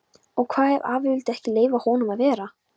Og hvað ef afi vildi ekki leyfa honum að vera?